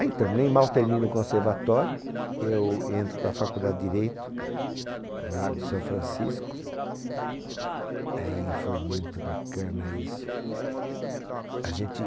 É, então, nem mal termina o conservatório, eu entro para a faculdade de Direito, no Largo de São Francisco, aí foi muito bacana isso. A gente